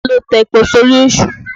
Ta ló ta epo sórí Èṣù?